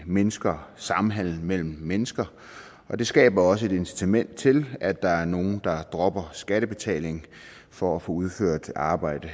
mindsker samhandel mellem mennesker og det skaber også et incitament til at der er nogle der dropper skattebetaling for at få udført arbejde